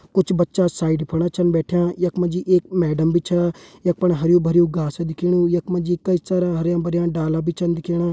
कुछ बच्चा साइड फणा छन बैठ्याँ यख मा जी एक मैडम भी छा यख फण घास दिखेणी यख मा जी कई सारा हरयां भरयां डाला भी छन दिखेणा।